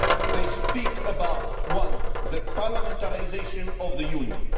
They speak about one, the parliamentarisation of the Union